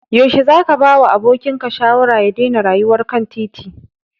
Yaushe zaka bawa abokinka shawara ya daina rayuwar kan titin?